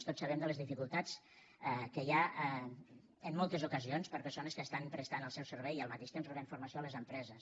tots sabem de les dificultats que hi ha en moltes ocasions per a persones que estan prestant el seu servei i al mateix temps rebent formació a les empreses